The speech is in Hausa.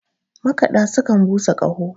makada sukan busa Kaho